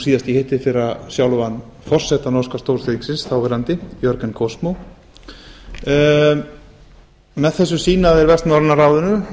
síðast í hittiðfyrra sjálfan forseta norska stórþingsins þáverandi björgvin kosmo með þessu sýna þeir vestnorræna ráðinu